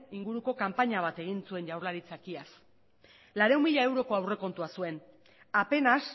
inguruko kanpaina bat egin zuen jaurlaritzak iaz laurehun mila euroko aurrekontua zuen apenas